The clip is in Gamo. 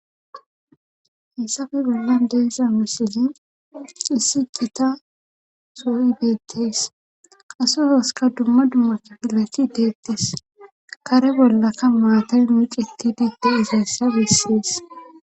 hissafi bollan deessa misilin issi qita soo7i beettees qaso toska dumma dummacha pilacthi deettes kare bollakka maatan nuiqiti deette izaassa bessees